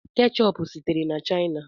Keechup sitere na China.